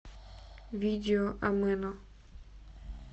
видео амено